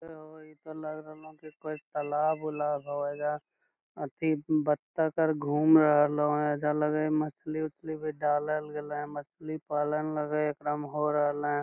इ त लग रहल हो की कोई तलाब-उलाब हो एजा अथि बत्तख आर घूम रहल हो एजा लग हई मछली उछली भी डालल गलो ह मछली पालन लगे हे एकरा मे हो रहले ।